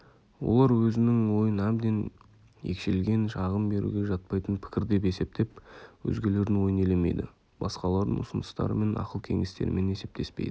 олар өзінің ойын әбден екшелген шағым беруге жатпайтын пікір деп есептеп өзгелердің ойын елемейді басқалардың ұсыныстарымен ақыл-кеңестерімен есептеспейді